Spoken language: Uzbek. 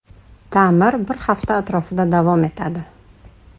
Ta’mir bir hafta atrofida davom etadi.